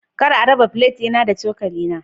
Kar a raba gwanoni na da cokali na.